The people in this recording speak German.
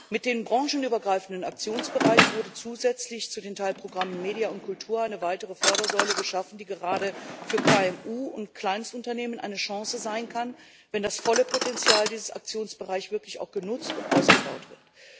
Mit dem branchenübergreifenden Aktionsbereich wurde zusätzlich zu den Teilprogrammen MEDIA und Kultur eine weitere Fördersäule geschaffen, die gerade für KMU und Kleinstunternehmen eine Chance sein kann, wenn das volle Potenzial dieses Aktionsbereichs auch wirklich genutzt und ausgebaut wird.